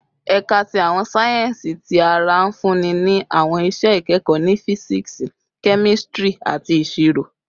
Ẹka ti Awọn sáyẹnsì Ti ara nfunni ni awọn iṣẹ ikẹkọ ni Fisiksi, Kemistri, ati Iṣiro